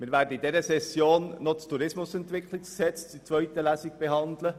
Wir werden in dieser Session noch das Tourismusentwicklungsgesetz in zweiter Lesung behandeln.